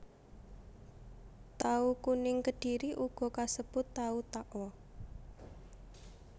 Tahu kuning Kedhiri uga kasebut tahu takwa